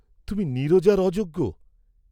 তুমি নীরজার অযোগ্য!